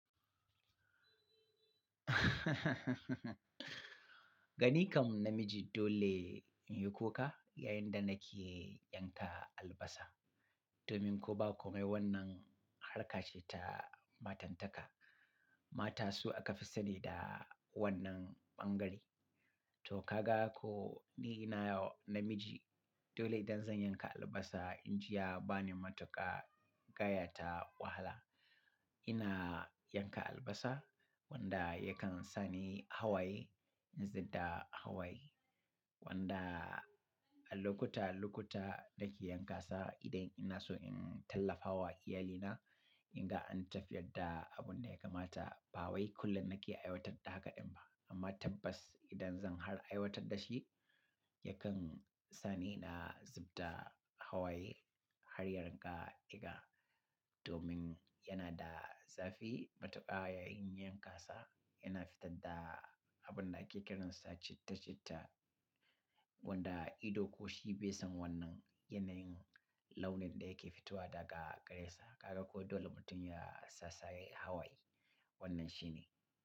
Gani kam namiji dole in yi kuka yayin da na ke yanka albasa domin ko ba komai wannan harka ce ta matantaka. Mata su aka fi sane da wannan ɓangare. To ka ga ko ni na namiji dole idan zan yanka albasa, in ji ya ba ni matuƙa gaya ta wahala. Ina yanka albasa wanda yakan sa ni hawaye in zub da hawaye wanda a lokuta-lokuta na ke yankasa idan ina so in tallafa wa iyalina, in ga an tafiyar da abun da ya kamata. Ba wai kullum na ke aiwatar da haka ɗin ba amma tabbas idan zan har aiwatar da shi, yakan sa ni ina zub da hawaye har ya rinka diga domin ya na da zafi matuƙa yayin yanka sa. Ya na fitar da abun da ake kiransa citta-citta wanda ido ko shi bai san wannan yanayin launin da ya ke fitowa daga gare sa. Ka ga ko dole mutum ya sassaye hawaye. Wannan shi ne.